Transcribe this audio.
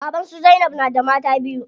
Baban su zainab na da mata biyu.